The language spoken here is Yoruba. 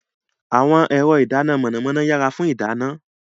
Àwọn ẹ̀rọ ìdáná iná mọ̀nàmọ́ná yára fún ìdáná.